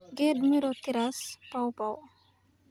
"Geed miro-citrus, pawpaw."